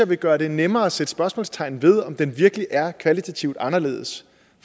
vil gøre det nemmere at sætte spørgsmålstegn ved om det virkelig er kvalitativt anderledes